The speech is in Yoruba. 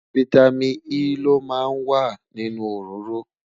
fìtámín E ló má ń wà nínú òróró